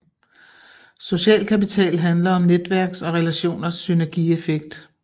Social kapital handler om netværks og relationers synergieffekt